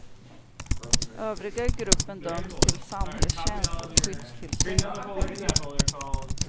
Övriga i gruppen döms till samhällstjänst och skyddstillsyn. punkt